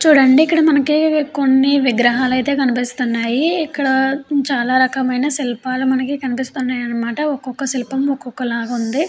చూడండి మనకి ఇక్కడ కొన్ని విగ్రహాలు అయితే కనిపిస్తున్నాయి. ఇక్కడ చాలా రకమైన శిల్పాలు మనకు కనిపిస్తున్నాయన్నమాట ఒక్కొక్క శిల్పము ఒక్కొక్క లాగా ఉంది.